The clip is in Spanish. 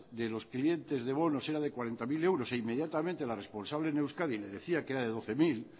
de los clientes de bonos era de cuarenta mil euros e inmediatamente la responsable en euskadi le decía que era de doce mil